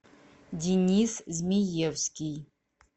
денис змеевский